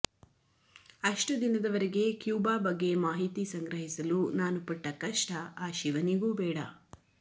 ಅಷ್ಟು ದಿನದವರೆಗೆ ಕ್ಯೂಬಾ ಬಗ್ಗೆ ಮಾಹಿತಿ ಸಂಗ್ರಹಿಸಲು ನಾನು ಪಟ್ಟ ಕಷ್ಟ ಆ ಶಿವನಿಗೂ ಬೇಡ